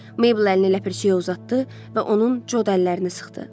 Mabel əlini ləpirçiyə uzatdı və onun cod əllərini sıxdı.